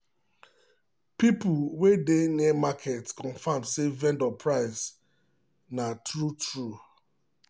people wey dey near market confirm say vendor price na true true.